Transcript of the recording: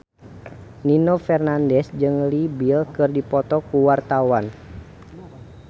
Nino Fernandez jeung Leo Bill keur dipoto ku wartawan